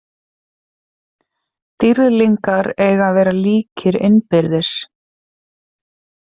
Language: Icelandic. Dýrlingar eiga að vera líkir innbyrðis.